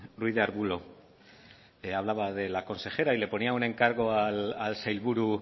ruiz de arbulo hablaba de la consejera y le ponía un encargo al sailburu